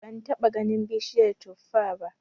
Ban taɓa ganin bishiyar tuffa ba